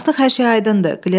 Artıq hər şey aydındır.